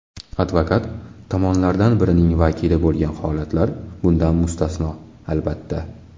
Advokat tomonlardan birining vakili bo‘lgan holatlar bundan mustasno, albatta.